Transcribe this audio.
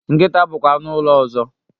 Nkịta bụkwa anụ ụlọ ọzọ.